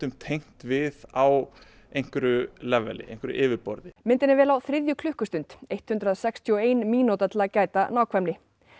tengt við á einhverju einhverju leveli myndin er vel á þriðju klukkustund hundrað sextíu og ein mínúta til að gæta nákvæmni